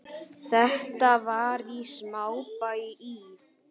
Þetta var í smábæ í